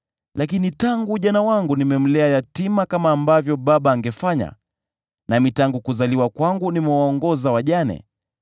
lakini tangu ujana wangu nimemlea yatima kama ambavyo baba angefanya, nami tangu kuzaliwa kwangu nimewaongoza wajane: